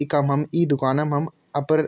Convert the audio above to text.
इखम हम इं दुकान म हम अपर --